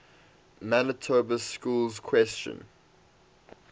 manitoba schools question